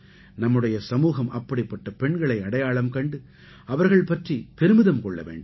நம்முடைய சமூகம் அப்படிப்பட்ட பெண்களை அடையாளம் கண்டு அவர்கள் பற்றிப் பெருமிதம் கொள்ள வேண்டும்